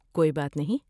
کوئی بات نہیں۔